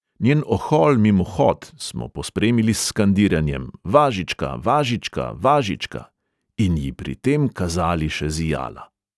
Njen ohol mimohod smo pospremili s skandiranjem: 'važička, važička, važička,' in ji pri tem kazali še zijala.